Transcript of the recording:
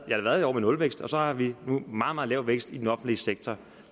et år med nulvækst og så har vi nu meget meget lav vækst i den offentlige sektor